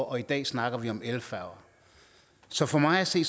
og i dag snakker vi om elfærger så for mig at se